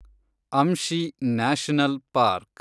Anshi national park